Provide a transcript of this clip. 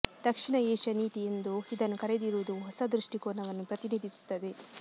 ದಕ್ಷಿಣ Asia ನೀತಿ ಎಂದು ಇದನ್ನು ಕರೆದಿರುವುದು ಹೊಸ ದೃಷ್ಟಿಕೋನವನ್ನು ಪ್ರತಿನಿಧಿಸುತ್ತದೆ